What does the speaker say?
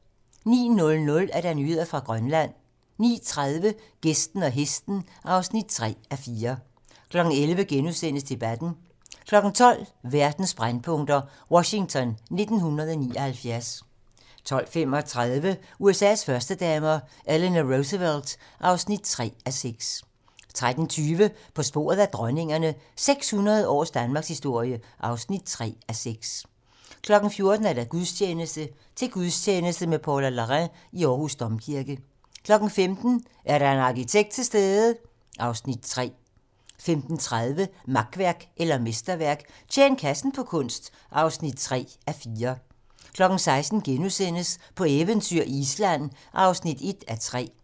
09:00: Nyheder fra Grønland 09:30: Gæsten og hesten (3:4) 11:00: Debatten * 12:00: Verdens brændpunkter: Washington 1979 12:35: USA's førstedamer - Eleanor Roosevelt (3:6) 13:20: På sporet af dronningerne - 600 års danmarkshistorie (3:6) 14:00: Gudstjeneste: Til gudstjeneste med Paula Larrain i Aarhus Domkirke 15:00: Er der en arkitekt til stede? (Afs. 3) 15:30: Makværk eller mesterværk - Tjen kassen på kunst (3:4) 16:00: På eventyr i Island (1:3)*